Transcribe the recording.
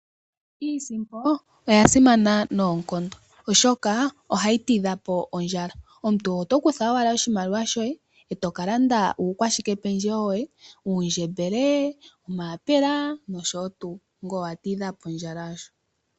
Iisimpo oya simana noonkondo oshoka ohayi ti dha po ondjala, omuntu oto kutha owala oshimaliwa shoye, eto ka landa uukwashikependjewo woye uundjembele, omayapela nosho tuu ngoye owa ti dha po ondjala aasho.